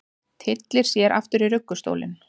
Tyllir sér aftur í ruggustólinn.